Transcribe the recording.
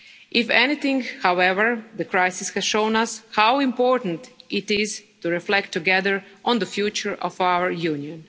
If anything, however, the crisis has shown us how important it is to reflect together on the future of our Union.